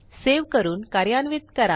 save करून कार्यान्वित करा